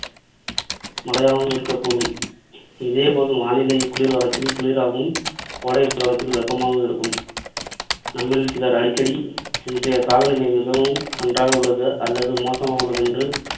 மழையாகவும் இருக்கக்கூடும். இதேபோல் வானிலை குளிர்காலத்தில் குளிராகவும், கோடைக்காலத்தில் வெப்பமாகவும் இருக்கும். நம்மில் சிலர் அடிக்கடி இன்றைய காலநிலை மிகவும் நன்றாக உள்ளது அல்லது மோசமாக உள்ளது என்று